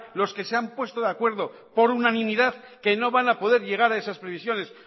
los que se han puesto de acuerdo por unanimidad que no van a poder llegar a esas previsiones